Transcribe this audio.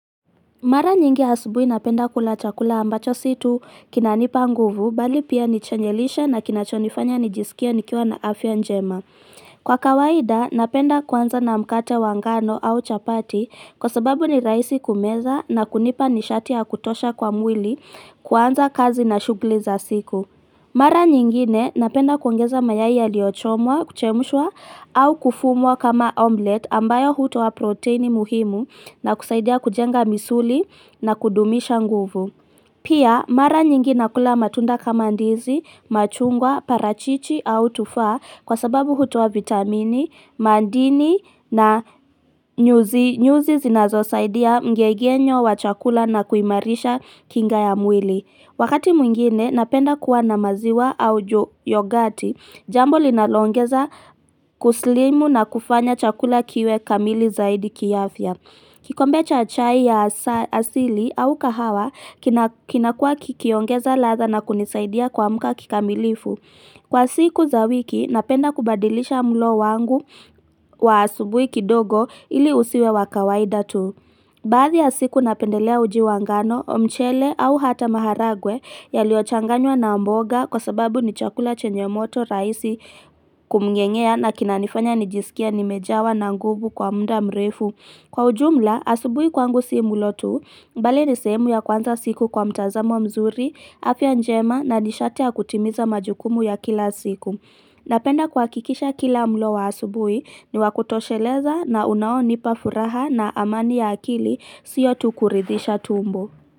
Mara nyingi asubuhi napenda kula chakula ambacho si tu kinanipa nguvu bali pia ni chenye lishe na kinachonifanya nijisikie nikiwa na afya njema. Kwa kawaida, napenda kuanza na mkate wa ngano au chapati kwa sababu ni rahisi kumeza na kunipa nishati ya kutosha kwa mwili kuanza kazi na shugli za siku. Mara nyingine napenda kuongeza mayai yaliochomwa, kuchemushwa au kufumwa kama omlet ambayo hutoa proteini muhimu na kusaidia kujenga misuli na kudumisha nguvu. Pia, mara nyingi nakula matunda kama ndizi, machungwa, parachichi au tufaa kwa sababu hutoa vitamini, mandini na nyuzi zinazosaidia mgegenyo wa chakula na kuimarisha kinga ya mwili. Wakati mwingine, napenda kuwa na maziwa au yogati, jambo linaloongeza kuslimu na kufanya chakula kiwe kamili zaidi kiafya. Kikombe cha chai ya asili au kahawa, kinakua kikiongeza ladha na kunisaidia kuamka kikamilifu. Kwa siku za wiki, napenda kubadilisha mlo wangu wa asubuhi kidogo ili usiwe wa kawaida tu. Baadhi ya siku napendelea uji wa ngano, mchele au hata maharagwe yaliochanganywa na mboga kwa sababu ni chakula chenye moto rahisi kumng'eng'ea na kinanifanya nijisikie nimejawa na nguvu kwa mda mrefu. Kwa ujumla, asubuhi kwangu si mulo tu, mbali ni sehemu ya kwanza siku kwa mtazamo mzuri, afya njema na nishati ya kutimiza majukumu ya kila siku. Napenda kuakikisha kila mlo wa asubuhi ni wa kutosheleza na unaonipa furaha na amani ya akili sio tu kuridisha tumbo.